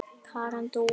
Karen Dúa.